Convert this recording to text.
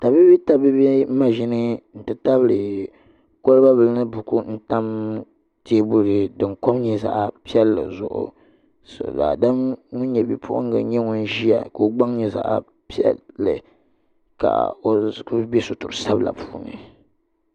Tabiibii tabiibi maʒini n ti tabili teebuli din kom nyɛ zaɣ piɛlli zuɣu daadam ŋun nyɛ bipuɣunga n ʒiya ka o gbaŋ nyɛ zaɣ piɛlli ka o kuli bɛ sitiri sabila puuni